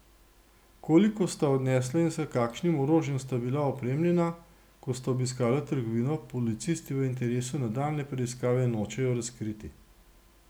Koliko sta odnesla in s kakšnim orožjem sta bila opremljena, ko sta obiskala trgovino, policisti v interesu nadaljnje preiskave nočejo razkriti.